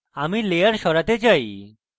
আমি layer সরাতে চাই